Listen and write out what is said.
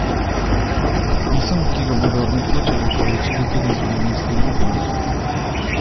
Podpisom, ki ga bodo nekoč ovekovečili tudi zgodovinski učbeniki.